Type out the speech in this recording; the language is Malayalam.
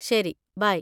ശരി, ബൈ.